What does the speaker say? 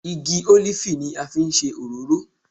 Igi ólífì ni a fi ń ṣe òróró